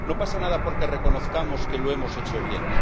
No pasa nada porque reconozcamos que lo hemos hecho bien.